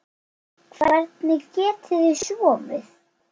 Hvernig getið þið sofið?